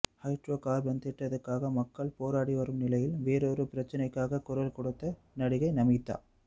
hydrocarbon திட்டத்துக்காக மக்கள் போராடி வரும் நிலையில் வேறொரு பிரச்சனைக்காக குரல் கொடுத்த நடிகை நமீதா